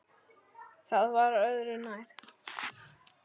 Það var öðru nær.